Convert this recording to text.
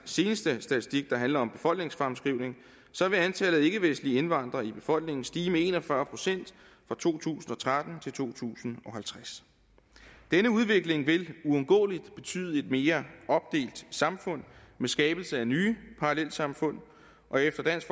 seneste statistik der handler om befolkningsfremskrivning vil antallet af ikkevestlige indvandrere i befolkningen stige med en og fyrre procent fra to tusind og tretten til to tusind og halvtreds denne udvikling vil uundgåeligt betyde et mere opdelt samfund med skabelse af nye parallelsamfund og efter dansk